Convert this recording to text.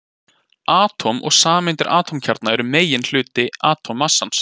Atóm og sameindir Atómkjarnar eru meginhluti atómmassans.